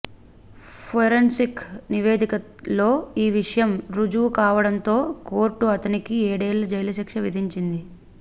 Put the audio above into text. forensic నివేదికలో ఈ విషయం రుజువు కావడంతో కోర్టు అతనికి ఏడేళ్ల జైలు శిక్ష విధించింది